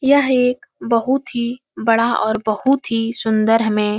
यह एक बहुत ही बड़ा और बहुत ही सुंदर हमें --